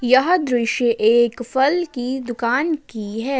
यह दृश्य एक फल की दुकान की है।